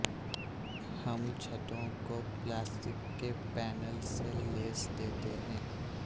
ہم چھتوں کو پلاسٹک کے پینل سے لیس دیتے ہیں